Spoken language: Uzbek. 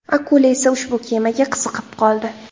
Akula esa ushbu kemaga qiziqib qoldi.